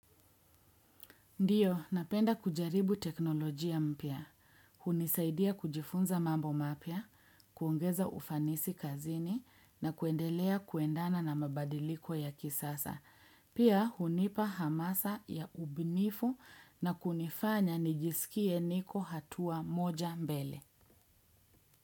Ndiyo, napenda kujaribu teknolojia mpya. Hunisaidia kujifunza mambo mapya, kuongeza ufanisi kazini na kuendelea kuendana na mabadiliko ya kisasa. Pia, hunipa hamasa ya ubunifu na kunifanya nijisikie niko hatua moja mbele.